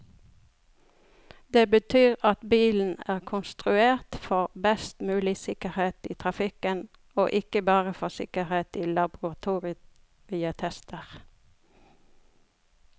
Det betyr at bilen er konstruert for best mulig sikkerhet i trafikken, og ikke bare for sikkerhet i laboratorietester.